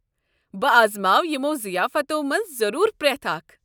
بہٕ آزماوٕ یِمَو ضِیافتو مَنٛز ضروٗر پرٮ۪تھ اکھ۔